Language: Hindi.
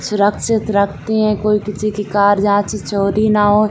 सुरक्षित रखतें हैं कोई किसी की कार यहाँ से चोरी न हो।